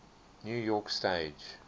new york stage